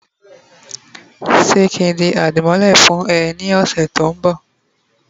se kin di adimole fun eee ni ose to nbo?